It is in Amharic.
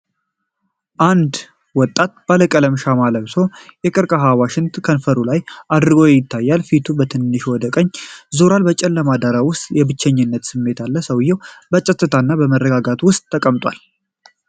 አንድ ወጣት ባለቀለም ሻማ ለብሶ፣ የቀርቀሃ ዋሽንት ከንፈሩ ላይ አድርጎ ይነፋል። ፊቱ በትንሹ ወደ ቀኝ ዞሯል፣ በጨለማ ዳራ ውስጥ የብቸኝነት ስሜት አለ። ሰውዬው በፀጥታና በመረጋጋት ውስጥ ተቀምጧል።